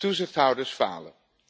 Toezichthouders falen.